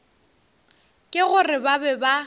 ke gore ba be ba